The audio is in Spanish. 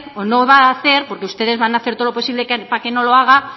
o no va a hacer porque ustedes van a hacer todo lo posible para que no lo hagan